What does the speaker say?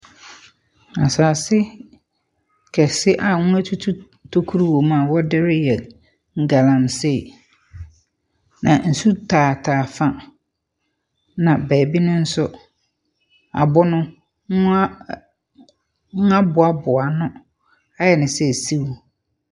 Asase kɛse a wɔatutu tokuro wɔ mu a wɔde reyɛ galamsey. Na nsu taataa fa, na baabi no nso, abɔn mu a mu aboaboa ano .